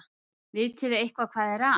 Vitiði eitthvað hvað er að?